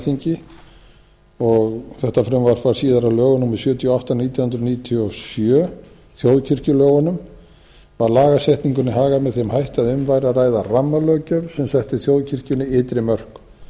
alþingi og þetta frumvarp varð síðar að lögum númer sjötíu og átta nítján hundruð níutíu og sjö þjóðkirkjulögunum var lagasetningunni hagað með þeim hætti að um væri að ræða rammalöggjöf sem setti þjóðkirkjunni ytri mörk